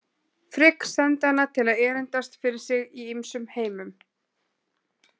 Frigg sendi hana til að erindast fyrir sig í ýmsum heimum.